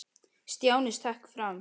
Stjáni stökk fram.